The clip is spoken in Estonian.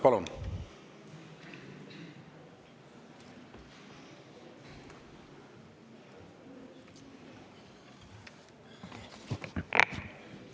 Palun!